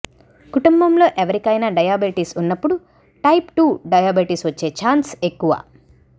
కుటుంబంలో ఎవరికైనా డయాబెటిస్ ఉన్నప్పుడు టైప్ టు డయాబెటీస్ వచ్చే ఛాన్స్ ఎక్కువ